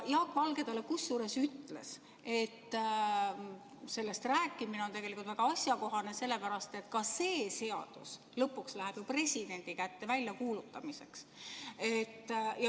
Jaak Valge talle ütles, et sellest rääkimine on tegelikult väga asjakohane, sest ka see seadus lõpuks läheb ju presidendi kätte väljakuulutamiseks.